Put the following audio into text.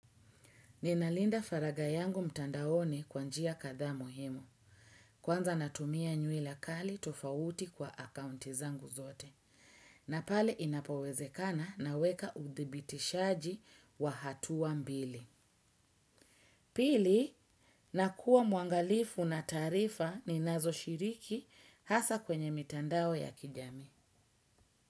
Ninalinda faraga yangu mtandaoni kwa njia katha muhimu, kwanza natumia nyuila kali tofauti kwa akaunti zangu zote, na pale inapowezekana na weka udhibitishaji wa hatua mbili. Pili, nakua mwangalifu na taarifa ninazo shiriki hasa kwenye mitandao ya kijami.